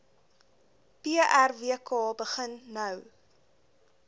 prwk begin nou